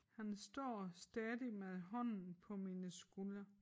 Han står stadig med hånden på mine skuldre